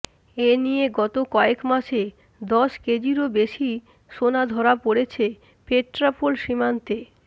এনিয়ে গত কয়েকমাসে দশ কেজিরও বেশি সোনা ধরা পড়েছে পেট্রাপোল সীমান্তে